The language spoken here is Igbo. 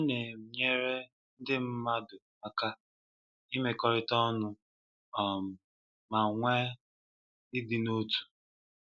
Ọ Na-enyere ndị mmadụ aka ịmekọrịta ọnụ um ma nwe ịdị n'otu.